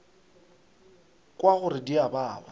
kwa gore di a baba